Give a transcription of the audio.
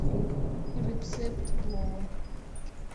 рецепт плова